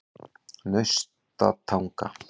Naustatanga